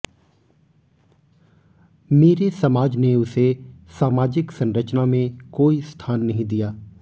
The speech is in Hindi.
मेरे समाज ने उसे सामाजिक संरचना में कोई स्थान नहीं दिया